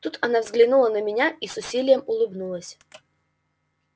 тут она взглянула на меня и с усилием улыбнулась